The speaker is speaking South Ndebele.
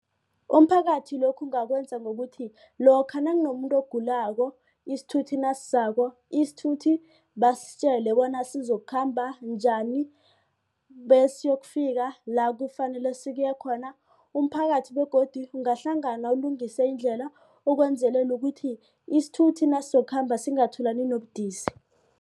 Umphakathi lokhu ungakwenza ngokuthi lokha nakunomuntu ogulako isithuthi nasizako. Isithuthi basitjele bona sizokukhamba njani basiyokufika la kufanele siye khona. Umphakathi begodu ungahlangana ulungise indlela ukwenzelela ukuthi isithuthi nasokukhamba singatholani nobudisi.